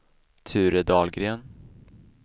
Ture Dahlgren